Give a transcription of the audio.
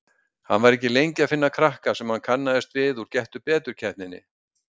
Hann var ekki lengi að finna krakka sem hann kannaðist við úr Gettu betur-keppninni.